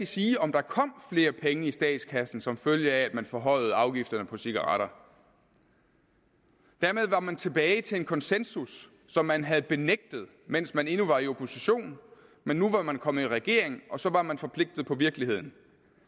sige om der kom flere penge i statskassen som følge af at man forhøjede afgifterne på cigaretter dermed var man tilbage til en konsensus som man havde benægtet mens man endnu var i opposition men nu var man kommet i regering og så var man forpligtet på virkeligheden